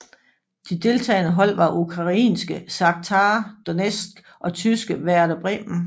De deltagende hold var ukrainske Shakhtar Donetsk og tyske Werder Bremen